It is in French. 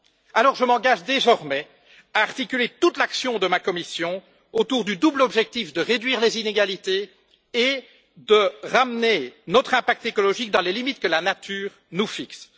Alors, je m'engage désormais à articuler toute l'action de ma Commission autour du double objectif de réduire les inégalités et de ramener notre impact écologique dans les limites que la nature nous fixe.